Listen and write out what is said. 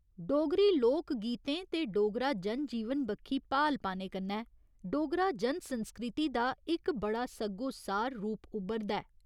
डोगरी लोक गीतें ते डोगरा जन जीवन बक्खी भाल पाने कन्नै डोगरा जन संस्कृति दा इक बड़ा सग्गोसार रूप उब्भरदा ऐ।